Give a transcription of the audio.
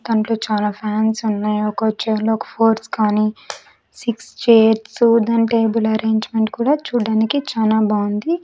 దాంట్లో చాలా ఫ్యాన్స్ ఉన్నాయి ఒక చైర్లు ఒక ఫోర్స్ కానీ సిక్స్ చైర్స్ దాన్ టేబుల్ అరేంజ్మెంట్ కూడా చూడ్డానికి చాలా బాగుంది.